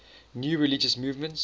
new religious movements